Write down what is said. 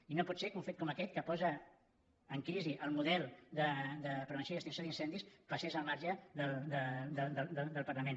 i no pot ser que un fet com aquest que posa en crisi el model de prevenció i extinció d’incendis passés al marge del parlament